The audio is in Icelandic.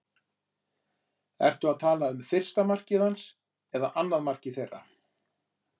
Ertu að tala um fyrsta markið hans en annað markið þeirra?